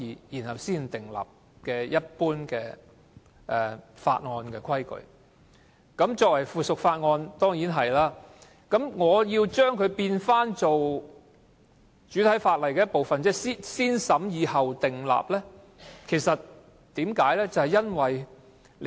作為附屬法例，當然是這樣做，但我提出要將之變成主體法例的一部分，即要通過"先審議後訂立"的程序，為甚麼？